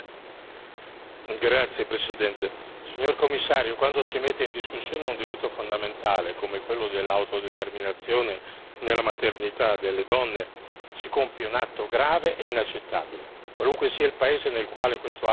Signor Presidente, onorevoli colleghi, signor Commissario, quando si mette in discussione un diritto fondamentale, come quello dell'autodeterminazione nella maternità delle donne, si compie un atto grave e inaccettabile, qualunque sia il paese in cui questo atto si consuma.